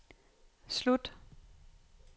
slut